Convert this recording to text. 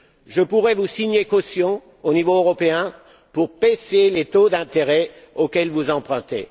Je pourrais vous signer caution, au niveau européen, pour baisser les taux d'intérêt auxquels vous empruntez.